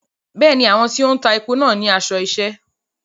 Bẹ́ẹ̀ni, àwọn tí wọ́n ń ta epo náà ní aṣọ iṣẹ́.